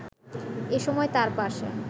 এ সময় তাঁর পাশে